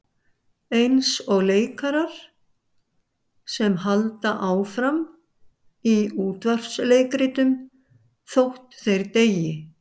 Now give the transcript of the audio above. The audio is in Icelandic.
Eins og leikarar sem halda áfram í útvarpsleikritum þótt þeir deyi.